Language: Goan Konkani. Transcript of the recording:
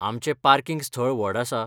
आमचें पार्किंग स्थळ व्हड आसा .